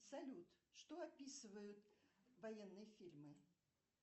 салют что описывают военные фильмы